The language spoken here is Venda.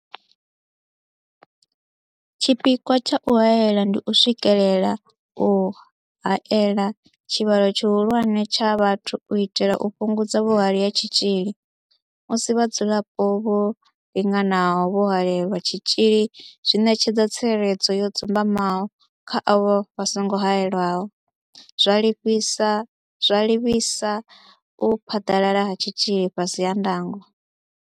Tshipikwa tsha u haela ndi u swikelela u haela tshivhalo tshihulwane tsha vhathu u itela u fhungudza vhuhali ha tshitzhili, musi vhadzulapo vho linganaho vho haelelwa tshitzhili zwi ṋetshedza tsireledzo yo dzumbamaho kha avho vha songo haelwaho, zwa livhisa u phaḓalala ha tshitzhili fhasi ha ndango.